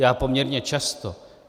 Já poměrně často.